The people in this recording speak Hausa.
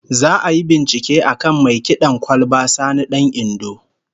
Za'a yi bincike akan mai kid'an kwalba Sani Dan Indo